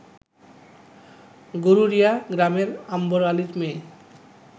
গরুরিয়া গ্রামের আম্বর আলীর মেয়ে